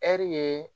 Ɛri ye